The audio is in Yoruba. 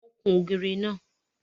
Wọ́n kún ògiri náà.